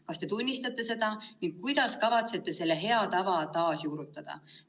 Kas te tunnistate seda ning kuidas kavatsete selle hea tava taasjuurutada?